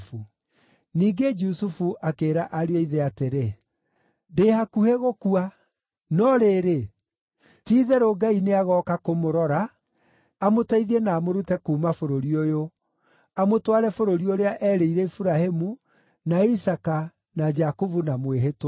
Ningĩ Jusufu akĩĩra ariũ a ithe atĩrĩ, “Ndĩ hakuhĩ gũkua. No rĩrĩ, ti-itherũ Ngai nĩagooka kũmũrora amũteithie na amũrute kuuma bũrũri ũyũ, amũtware bũrũri ũrĩa erĩire Iburahĩmu, na Isaaka na Jakubu na mwĩhĩtwa.”